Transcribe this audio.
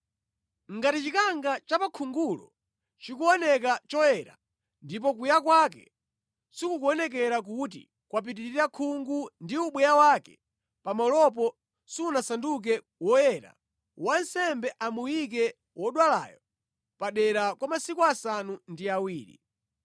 Ngati chikanga cha pa khungulo chikuoneka choyera, ndipo kuya kwake sikukuonekera kuti kwapitirira khungu ndi ubweya wake pamalopo sunasanduke woyera, wansembe amuyike wodwalayo padera kwa masiku asanu ndi awiri.